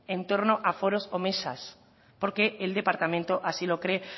en torno a foros o mesas porque el departamento así lo cree